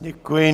Děkuji.